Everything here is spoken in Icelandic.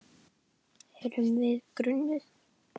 Erum við grunuð?